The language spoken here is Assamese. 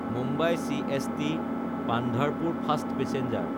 Mumbai চিএছটি–পান্ধাৰপুৰ fast passenger